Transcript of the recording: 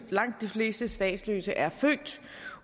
langt de fleste statsløse er født